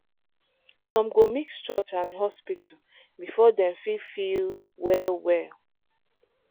some go mix church and hospital before dem fit feel well well.